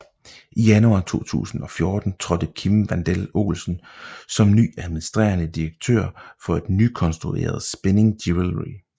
I januar 2014 tiltrådte Kim Wandel Olsen som ny administrerende direktør for et nykonstrueret Spinning Jewelry